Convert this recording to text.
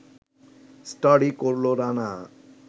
study করল রানা